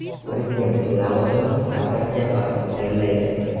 Prezidentlik lavozimini Sadir Japarov egallaydi.